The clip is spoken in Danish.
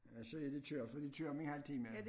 Så er de kørt for de kører om en halv time